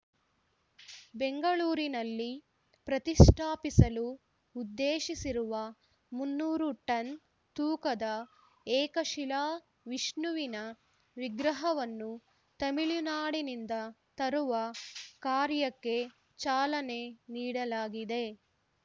ಬೆಂಗಳೂರಿನಲ್ಲಿ ಪ್ರತಿಷ್ಠಾಪಿಸಲು ಉದ್ದೇಶಿಸಿರುವ ಮುನ್ನೂರು ಟನ್‌ ತೂಕದ ಏಕಶಿಲಾ ವಿಷ್ಣುವಿನ ವಿಗ್ರಹವನ್ನು ತಮಿಳುನಾಡಿನಿಂದ ತರುವ ಕಾರ್ಯಕ್ಕೆ ಚಾಲನೆ ನೀಡಲಾಗಿದೆ